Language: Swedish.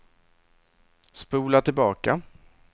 spola tillbaka